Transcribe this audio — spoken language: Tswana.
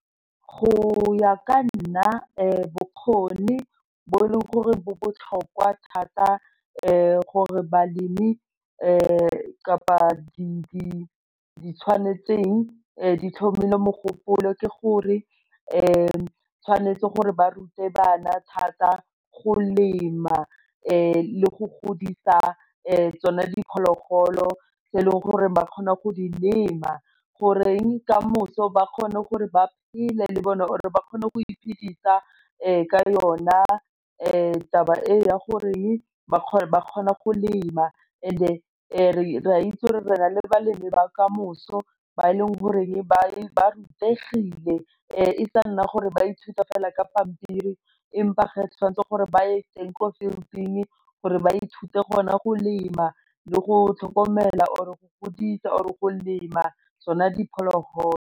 Go ya ka nna bokgoni bo e leng gore bo botlhokwa thata gore balemi kapa di tshwanetseng di tlhomile mogopolo ke gore tshwanetse gore ba rute bana thata go lema le go godisa tsone diphologolo tse e leng gore ba kgona go di lema goreng ka moso ba kgone gore ba phele le bone or ba kgone go iphidisa ka yona taba e ya goreng ba kgona go lema and re a itse gore re na le balemi ba ka moso ba e leng goreng ba rutegile e sa nna gore ithuta fela ka pampiri empa ga e tshwanetse gore ba ye teng ko gore ba ithute gona go lema le go tlhokomela or e go godisa or go lema tsona diphologolo.